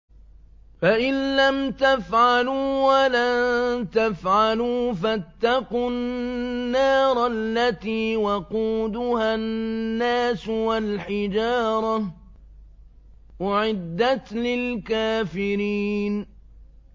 فَإِن لَّمْ تَفْعَلُوا وَلَن تَفْعَلُوا فَاتَّقُوا النَّارَ الَّتِي وَقُودُهَا النَّاسُ وَالْحِجَارَةُ ۖ أُعِدَّتْ لِلْكَافِرِينَ